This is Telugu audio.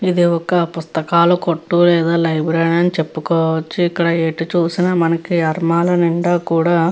ఇది ఒక పుస్తకాల కొట్టు లేదా లైబ్రరీ అని చెప్పుకోవచ్చు ఇక్కడ ఎటు చూసినా మనకి అర్మాల నిండా కూడా --